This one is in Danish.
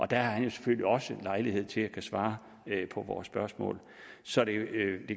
der har han jo selvfølgelig også lejlighed til at kunne svare på vores spørgsmål så det